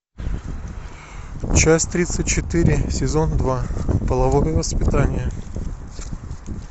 часть тридцать четыре сезон два половое воспитание